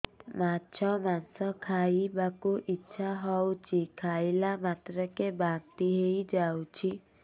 ମାଛ ମାଂସ ଖାଇ ବାକୁ ଇଚ୍ଛା ହଉଛି ଖାଇଲା ମାତ୍ରକେ ବାନ୍ତି ହେଇଯାଉଛି